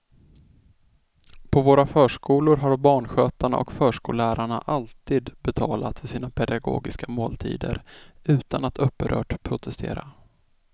På våra förskolor har barnskötarna och förskollärarna alltid betalat för sina pedagogiska måltider utan att upprört protestera.